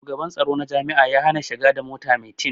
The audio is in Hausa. Shugaban tsoro na jami'a ya hana shiga da mota mai tin